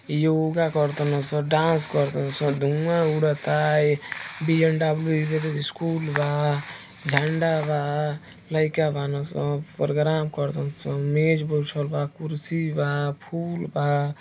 योगा कर्तन सन डांस कर्तन सन धुआं उडता। बी.एन.डब्लू स्कूल बा झंडा बा लाइका बानसन। प्रोग्राम करतन सन मेज बिछल बा कुर्सी बा फूल बा।